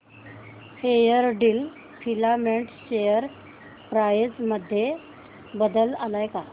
Fairdeal filament share price मध्ये बदल आलाय का